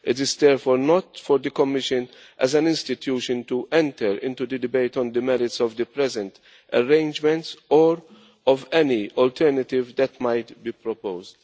It is therefore not for the Commission as an institution to enter into the debate on the merits of the present arrangements or of any alternative that might be proposed.